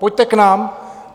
Pojďte k nám.